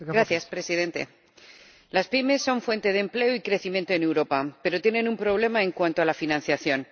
Señor Presidente, las pymes son fuente de empleo y crecimiento en Europa, pero tienen un problema en cuanto a la financiación.